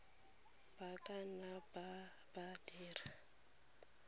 ba ka nna ba dira